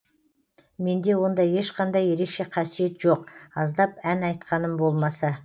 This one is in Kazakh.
менде ондай ешқандай ерекше қасиет жоқ аздап ән айтқаным болмаса